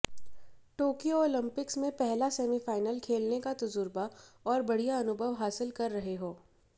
Tokyo Olympics में पहला semifinal खेलने का तजुर्बा और बढिय़ा अनुभव हासिल कर रहे हो